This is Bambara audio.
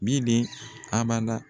Bili abada.